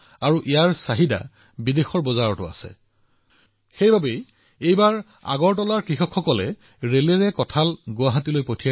যিহেতু ইয়াৰ দেশবিদেশত চাহিদা আছে এইবাৰ আগৰতলাৰ কৃষকসকলৰ কঁঠাল ৰেলেৰে গুৱাহাটীলৈ আনিছিল